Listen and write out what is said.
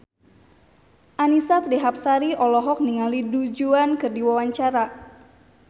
Annisa Trihapsari olohok ningali Du Juan keur diwawancara